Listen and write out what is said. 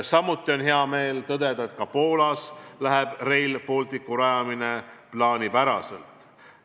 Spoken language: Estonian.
Samuti on hea meel tõdeda, et ka Poolas läheb Rail Balticu rajamine plaanipäraselt.